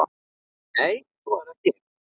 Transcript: Nei, svo er ekki.